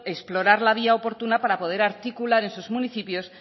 explorar la vía oportuna para poder articular en sus municipios